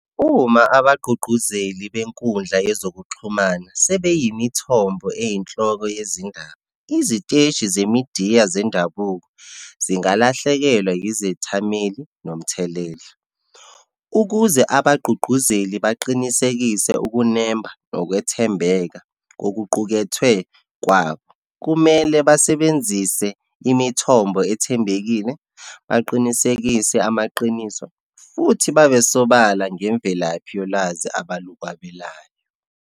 Uma abagqugquzeli benkundla yezokuxhumana sebeyimithombo eyinhloko yezindaba, iziteshi zemidiya zendabuko zingalahlekelwa izethameli, nomthelela. Ukuze abagqugquzeli baqinisekise ukunemba, nokwethembeka kokuqukethwe kwabo, kumele basebenzise imithombo ethembekile, baqinisekise amaqiniso, futhi babe sobala ngemvelaphi yolwazi abalukwabelayo.